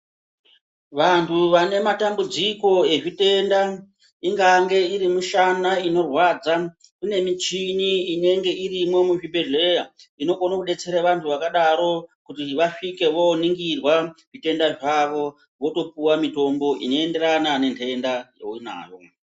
Vanhu vanematambudziko ezvitenda ingange irimushana inorwadza, kune michini inenge irimwo muzvibhedhleya. Inokone kudetsera vantu vakadaro kuti vasvike vooningirwa zvitenda zvavo, votopuwa mitombo inoenderana nentenda yeunayo.